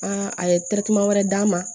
a ye wɛrɛ d'a ma